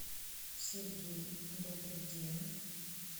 сергей добрый день